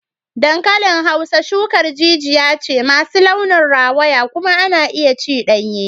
Dankalin Hausa shukar jijiya ce masu launin rawaya kuma ana iya ci danye.